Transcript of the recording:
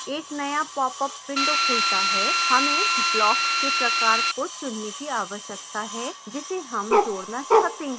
एक नया popअप window खुलता है हमें block के प्रकार को चुनने की आवश्यकता है जिसे हम जोड़ना चाहते हैं